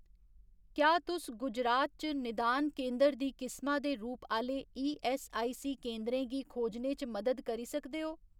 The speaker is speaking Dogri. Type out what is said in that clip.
क्या तुस गुजरात च निदान केंदर दी किसमा दे रूप आह्‌ले ईऐस्सआईसी केंदरें गी खोजने च मदद करी सकदे ओ